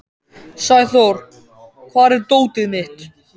Sæþór, hvar er dótið mitt?